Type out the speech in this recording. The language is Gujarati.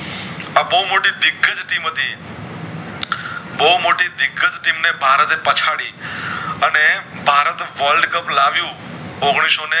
આ બોવ મોટી વિકૃત team હતી બોવમોટી વિકૃત team એ ભારત એ પછડી અને ભારત world cup લાવ્યુ અગણીસો ને